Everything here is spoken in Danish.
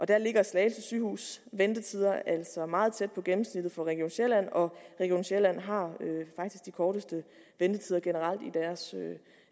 der ligger slagelse sygehus ventetider altså meget tæt på gennemsnittet for region sjælland og region sjælland har faktisk de korteste ventetider generelt i deres